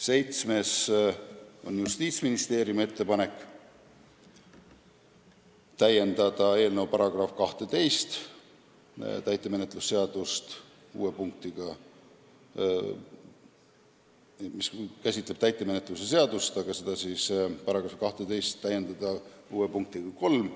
See on Justiitsministeeriumi esitatud ettepanek.